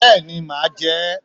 Béèni màá je é